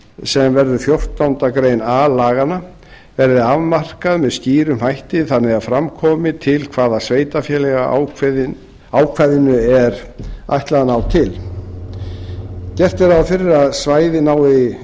sem verður fjórtándu grein a laganna verði afmarkað með skýrum hætti þannig að fram komi til hvaða sveitarfélaga ákvæðinu er ætlað að ná gert er ráð fyrir að svæðið nái